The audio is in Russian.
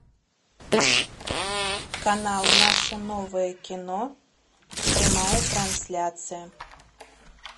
канал наше новое кино прямая трансляция